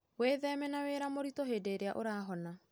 Wĩtheme na wĩra mũritũ hĩndĩ ũrahona.